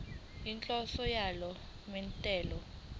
inhloso yalo mthetho